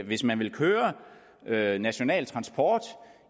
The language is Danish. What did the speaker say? hvis man vil køre national transport